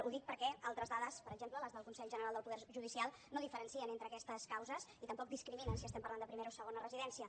ho dic perquè altres dades per exemple les del consell general del poder judicial no diferencien entre aquestes causes i tampoc discriminen si estem parlant de primera o segona residència